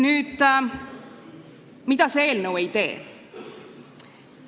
Nüüd, mida see eelnõu ei tee?